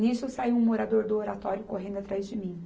Nisso saiu um morador do Oratório correndo atrás de mim.